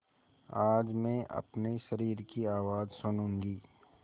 आज मैं अपने शरीर की आवाज़ सुनूँगी